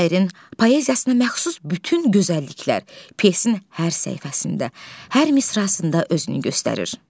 Şairin poeziyasına məxsus bütün gözəlliklər pyesin hər səhifəsində, hər misrasında özünü göstərir.